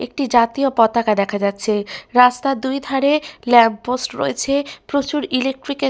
একটি জাতীয় পতাকা দেখা যাচ্ছে । রাস্তার দুইধারে ল্যাম্প পোস্ট রয়েছে প্রচুর ইলেক্ট্রিক এর --